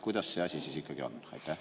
Kuidas see asi siis ikkagi on?